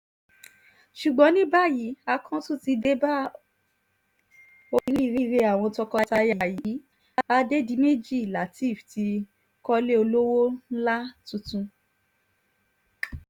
ṣùgbọ́n ní báyìí àkọ̀tun ti dé bá oríire àwọn tọkọ-taya yìí adédìméjì látẹ́ẹ́f ti kọ́lé olówó ńlá tuntun